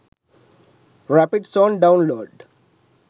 rapid zone download